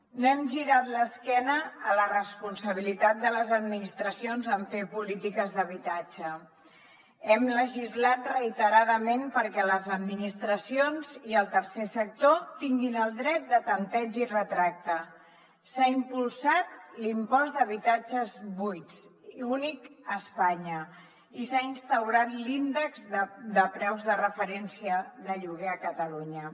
no hem girat l’esquena a la responsabilitat de les administracions en fer polítiques d’habitatge hem legislat reiteradament perquè les administracions i el tercer sector tinguin el dret de tempteig i retracte s’ha impulsat l’impost d’habitatges buits únic a espanya i s’ha instaurat l’índex de preus de referència de lloguer a catalunya